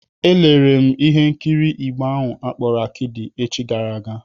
Elere m ihe nkiri Igbo ahụ akpọrọ Akịdị echi gara aga.